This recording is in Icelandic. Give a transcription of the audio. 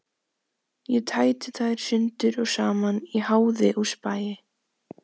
Ég tæti þær sundur og saman í háði og spéi.